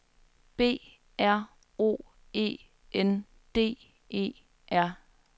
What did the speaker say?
B R O E N D E R